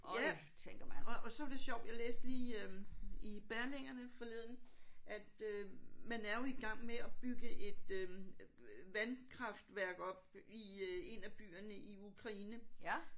Ja. Og og så var det sjovt jeg læste lige øh i Berlingerne forleden at øh man er jo i gang med at bygge et øh vandkraftværk op i en af byerne i Ukraine